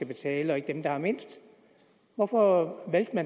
betale ikke dem der har mindst hvorfor vælger